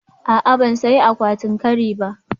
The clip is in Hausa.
A'a, ban sayi akwatin kari ba